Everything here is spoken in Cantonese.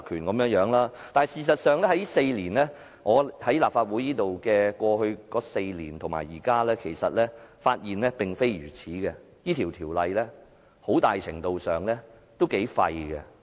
事實上，我發現現在及過去我在立法會的4年間，事實並非如此，這項條例很大程度上都很廢。